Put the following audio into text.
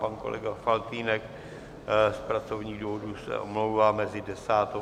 Pan kolega Faltýnek z pracovních důvodů se omlouvá mezi 10. a 11. hodinou.